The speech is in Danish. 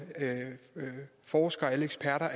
forskere og eksperter